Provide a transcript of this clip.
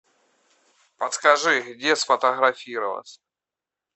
подскажи где сфотографироваться